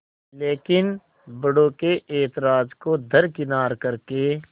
लेकिन बड़ों के ऐतराज़ को दरकिनार कर के